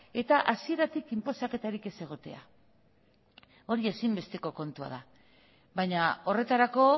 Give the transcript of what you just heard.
eta hasieratik inposaketarik ez egotea hori ezinbesteko kontua da baina horretarako